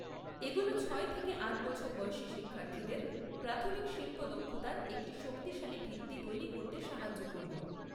এগুলো ছয় থেকে আট বছর বয়সী শিক্ষার্থীদের প্রাথমিক শিল্প দক্ষতার একটি শক্তিশালী ভিত্তি তৈরি করতে সাহায্য করবে।